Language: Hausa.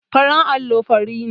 Farin allo fari ne.